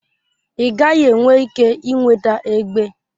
Ị gaghị enwe ike ị nweta egbe.